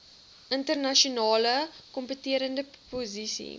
internasionale kompeterende posisie